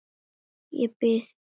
Ég bið ykkur!